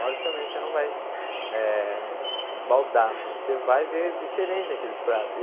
Logicamente você não vai eh se esbaldar, mas você vai ver diferente aqueles pratos.